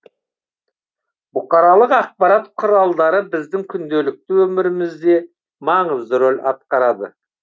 бұқаралық ақпарат құралдары біздің күнделікті өмірімізде маңызды рөл атқарады